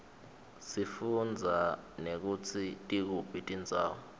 sifundza nekutsi tikuphi tindzawo